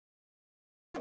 Haukur: Er hann góður?